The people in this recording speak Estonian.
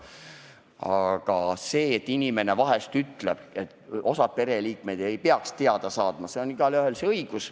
Aga see, et mõni inimene ütleb, et osa pereliikmeid ei peaks tema kohta teada saama – no igaühel on see õigus.